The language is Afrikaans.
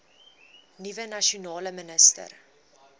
nuwe nasionale minister